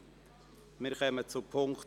Der Grosse Rat beschliesst: